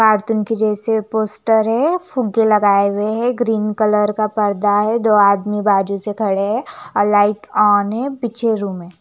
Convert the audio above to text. Cartoon के जैसे poster है फुग्गे लगाए हुए है ग्रीन कलर का पर्दा है दो आदमी बाजु से खड़े है और लाइट ऑन पीछे रूम है।